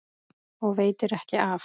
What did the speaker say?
Og veitir ekki af!